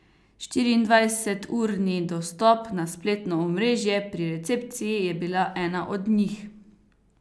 Štiriindvajseturni dostop na spletno omrežje pri recepciji je bila ena od njih.